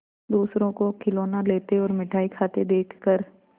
दूसरों को खिलौना लेते और मिठाई खाते देखकर